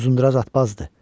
Uzunduraz atbazdır.